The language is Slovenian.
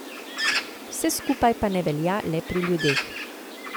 Vse skupaj pa ne velja le pri ljudeh.